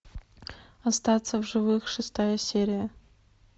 остаться в живых шестая серия